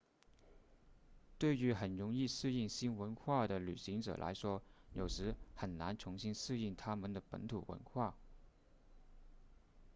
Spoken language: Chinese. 对于很容易适应新文化的旅行者来说有时很难重新适应他们的本土文化